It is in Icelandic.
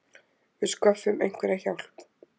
Við sköffum einhverja hjálp.